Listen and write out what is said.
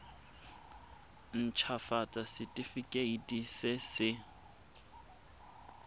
nt hafatsa setefikeiti se se